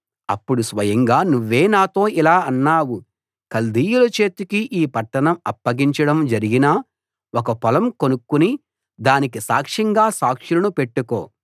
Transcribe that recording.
అప్పుడు స్వయంగా నువ్వే నాతో ఇలా అన్నావు కల్దీయుల చేతికి ఈ పట్టణం అప్పగించడం జరిగినా ఒక పొలం కొనుక్కుని దానికి సాక్షంగా సాక్షులను పెట్టుకో